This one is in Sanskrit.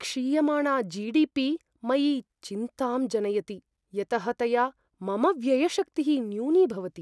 क्षीयमाणा जि.डि.पि. मयि चिन्तां जनयति, यतः तया मम व्ययशक्तिः न्यूनीभवति।